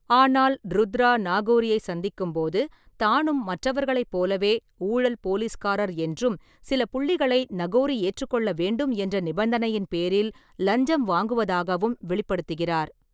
ஆனால் ருத்ரா நாகோரியைச் சந்திக்கும்போது, தானும் மற்றவர்களைப் போலவே ஊழல் போலீஸ்காரர் என்றும், சில புள்ளிகளை நகோரி ஏற்றுக்கொள்ள வேண்டும் என்ற நிபந்தனையின் பேரில் லஞ்சம் வாங்குவதாகவும் வெளிப்படுத்துகிறார்.